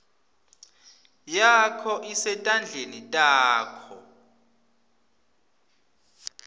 yakho isetandleni takho